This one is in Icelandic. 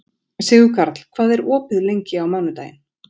Sigurkarl, hvað er opið lengi á mánudaginn?